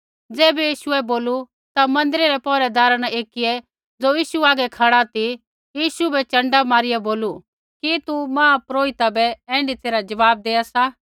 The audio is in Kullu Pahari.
ज़ैबै यीशुऐ बोलू ता मन्दिरा रै पौहरैदारा न एकियै ज़ो यीशु हागै खड़ा ती यीशु बै चंडा मारिया बोलू कि तू महापुरोहिता बै ऐण्ढी तैरहै ज़वाब देआ सा